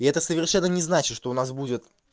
и это совершенно не значит что у нас будет